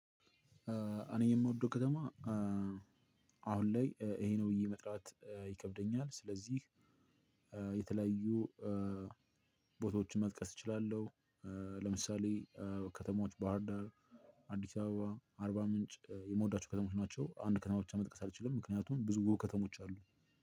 እኔ የምወደው ከተማ አሁን ላይ ይሄ ነው ብዬ መጥራት ይከብደኛል ስለዚህ የተለያዩ ቦታዎችን መጥቀስ እችላለሁ። ለምሳሌ ከተማዎች ባህርዳር፥ አዲስ አበባ፥ አርባ ምንጭ የምወዳቸው ከተሞች ናቸው። አንድ ከተማ ብቻ መጠቀስ አልችልም ምክንያቱም ብዙ ውብ ከተሞች አሉ።